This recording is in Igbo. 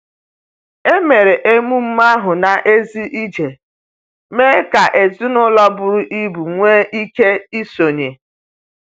Emere emume ahụ n’èzí iji mee ka ezinụlọ buru ibu nwee ike isonye.